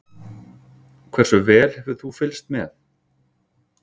Hversu vel hefur þú fylgst með?